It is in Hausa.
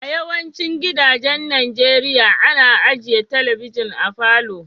A yawacin gidajen Nijeriya, ana ajia telibijin a falo.